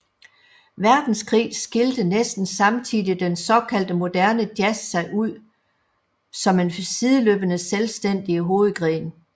Verdenskrig skilte næsten samtidig den såkaldte moderne jazz sig ud som en sideløbende selvstændig hovedgren